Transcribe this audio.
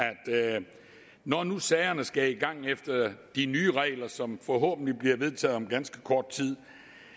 når nu sagerne skal i gang efter de nye regler som forhåbentlig bliver vedtaget om ganske kort tid